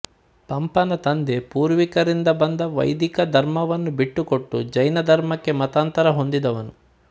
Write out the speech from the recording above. ಪಂಪನ ತಂದೆ ಪೂರ್ವಿಕರಿಂದ ಬಂದ ವೈದಿಕ ಧರ್ಮವನ್ನು ಬಿಟ್ಟುಕೊಟ್ಟು ಜೈನಧರ್ಮಕ್ಕೆ ಮತಾಂತರ ಹೊಂದಿದವನು